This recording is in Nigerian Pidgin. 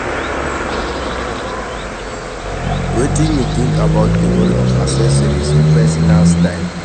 Wetin you think about di role of accessories in pesinal style?